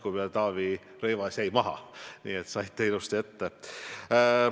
Ma näen, et Taavi Rõivas jäi maha, et teie saite ilusti ette.